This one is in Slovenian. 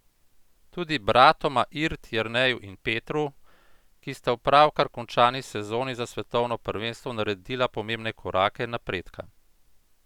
Tudi bratoma Irt, Jerneju in Petru, ki sta v pravkar končani sezoni za svetovno prvenstvo naredila pomembne korake napredka.